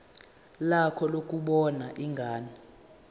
lakho lokubona ingane